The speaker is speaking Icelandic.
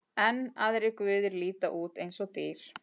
Enn aðrir guðir líta út eins og dýr.